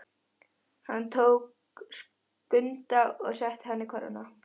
Hann tók Skunda og setti hann í körfuna.